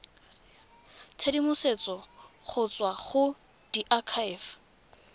tshedimosetso go tswa go diakhaefe